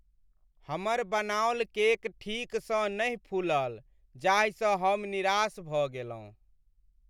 हमर बनाओल केक ठीकसँ नहि फूलल जाहिसँ हम निराश भऽ गेलहुँ।